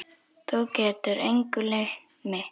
Þú getur engu leynt mig.